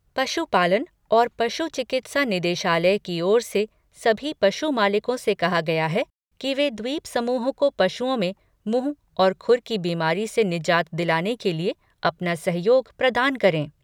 पशुपालन और पशु चिकित्सा निदेशालय की ओर से सभी पशु मालिकों से कहा गया है कि वे द्वीपसमूह को पशुओं में मुहं और खुर की बीमारी से निजात दिलाने के लिए अपना सहयोग प्रदान करें।